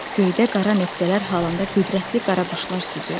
Göydə qara nöqtələr halında qüdrətli qara quşlar süzürdü.